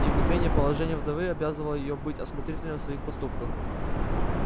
тем не менее положение вдовы обязывало её быть осмотрительной в своих поступках